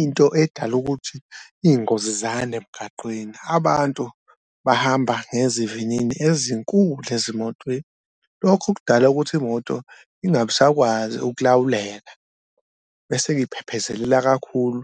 Into edala ukuthi iy'ngozi sizande emgaqweni abantu bahamba ngezivinini ezinkulu ezimotweni lokho okudala ukuthi imoto ingabe isakwazi ukulawuleka bese-ke iphephezelela kakhulu,